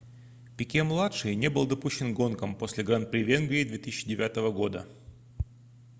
пике-младший не был допущен к гонкам после гран-при венгрии 2009 года